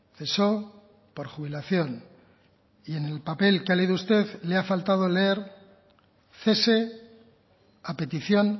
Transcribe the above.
cesó por jubilación y en el papel que ha leído usted le ha faltado leer cese a petición